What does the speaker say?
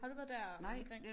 Har du været der omkring?